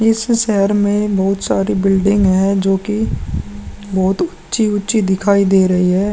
इस शहर में बहुत सारी बिल्डिंग है जोकि बहुत उच्ची - उच्ची दिखाई दे रही है।